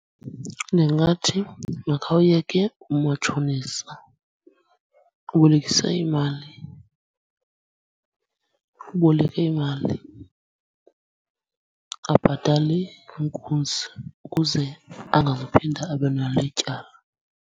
Ndingathi makhawuyeke umatshonisa ubolekisa imali, uboleke imali abhatale inkunzi ukuze angazuphinda abe nalo ityala.